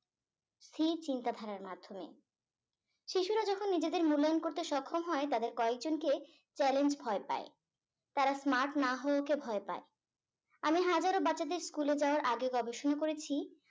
স্থির চিন্তা ধারার মাধ্যমে শিশুরা যখন নিজেদের মূল্যায়ন করতে সক্ষম হয় তাদের কয়েকজন কে challenge ভয় পাই তারা smart না হওয়া কে ভয় পাই আমি হাজারো বাচ্চাদের school এ যাওয়ার আগে গবেষণা করেছি